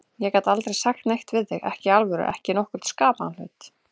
Ég gat aldrei sagt neitt við þig, ekki í alvöru, ekki nokkurn skapaðan hlut.